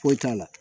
Foyi t'a la